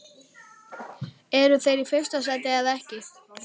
Eru þeir í fyrsta sæti eða ekki?